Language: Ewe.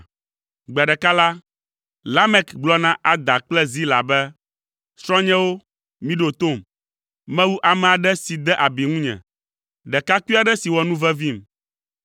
Gbe ɖeka la, Lamek gblɔ na Ada kple Zila be, “Srɔ̃nyewo, miɖo tom. Mewu ame aɖe si de abi ŋunye, ɖekakpui aɖe si wɔ nuvevim.